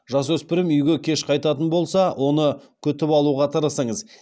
жасөспірім үйге кеш қайтатын болса оны күтіп алуға тырысыңыз